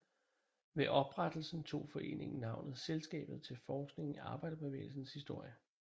Ved oprettelsen tog foreningen navnet Selskabet til Forskning i Arbejderbevægelsens Historie